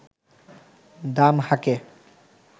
দাম হাঁকে